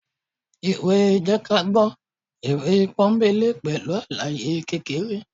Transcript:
ìwé jẹ́kágbọ́ ìwé pọ́nńbélé pẹlu alàyé kékeré